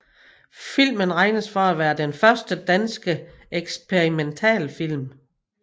Filmen regnes for at være den første danske eksperimentalfilm